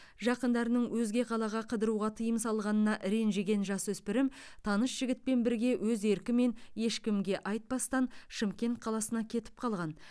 жақындарының өзге қалаға қыдыруға тыйым салғанына ренжіген жасөспірім таныс жігітпен бірге өз еркімен ешкімге айтпастан шымкент қаласына кетіп қалған